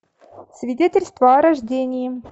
свидетельство о рождении